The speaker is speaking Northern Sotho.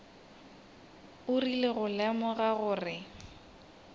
o rile go lemoga gore